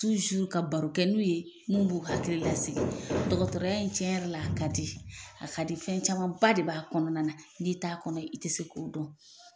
ka baro kɛ n'u ye, mun b'u hakili lasigi dɔkɔtɔrɔya in cɛn yɛrɛ la, a ka di, a ka di fɛn camanba de b'a kɔnɔna na, n'i t'a kɔnɔ i tɛ se k'o dɔn.